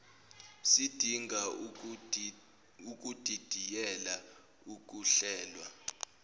sidinga ukudidiyela ukuhlelwa